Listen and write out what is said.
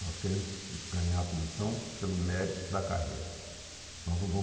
Nós queremos ganhar a comissão pelo mérito da carreira. Nós não vamos